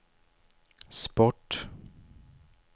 sport